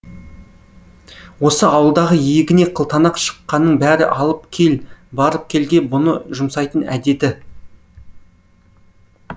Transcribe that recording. осы ауылдағы иегіне қылтанақ шыққанның бәрі алып кел барып келге бұны жұмсайтын әдеті